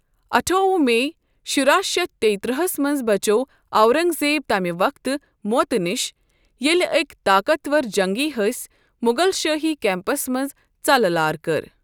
اَٹھووہ میۍ شُراہ شیتھ تِییہ ترٛہ ہَس منٛز بچٮ۪و اورنگ زیب تَمہِ وقتہٕ موتہٕ نش ییٚلہ ٲکۍ طاقَت وَر جنگی حٔسۍ مغل شٲہی کیمپس منٛز ژَلہٕ لار کٔر۔